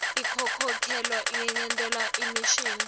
inkhokhelo ingentiwa ngemishini